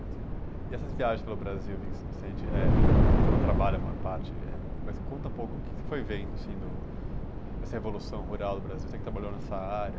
E essas viagens pelo Brasil, Vicente, foram trabalho a maior parte, mas conta um pouco o que você foi vendo dessa revolução rural do Brasil, você que trabalhou nessa área.